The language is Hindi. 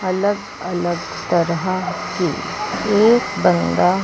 अलग अलग तरह की एक बंदा--